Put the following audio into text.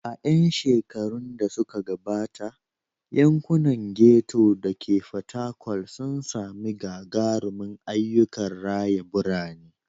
A 'yan shekarun da suka gabata, yankunan ghetto da ke Fatakwal sun sami gagarumin ayyukan raya birane.